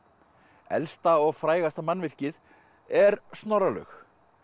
elsta og frægasta mannvirkið er Snorralaug